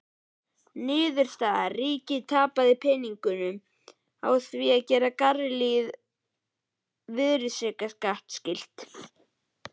Niðurstaða: Ríkið tapaði peningum á því að gera galleríið virðisaukaskattskylt!